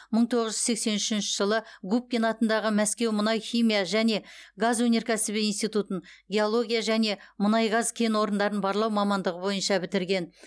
мың тоғыз жүз сексен үшінші жылы и м губкин атындағы мәскеу мұнай химия және газ өнеркәсібі институтын геология және мұнай газ кен орындарын барлау мамандығы бойынша бітірген